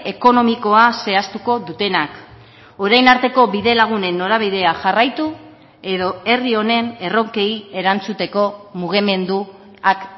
ekonomikoa zehaztuko dutenak orain arteko bidelagunen norabidea jarraitu edo herri honen erronkei erantzuteko mugimenduak